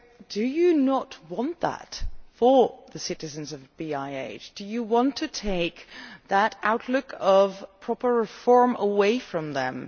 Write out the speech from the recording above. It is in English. Do you not want that for the citizens of BiH? Do you want to take that prospect of proper reform away from them?